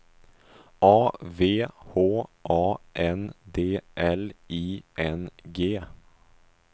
A V H A N D L I N G